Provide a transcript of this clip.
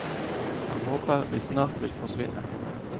Han håper de snart vil forsvinne.